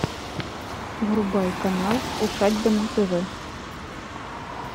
врубай канал усадьба на тв